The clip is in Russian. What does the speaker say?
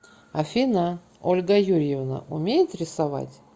афина ольга юрьевна умеет рисовать